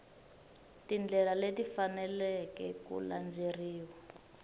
tindlela leti faneleke ku landzeleriwa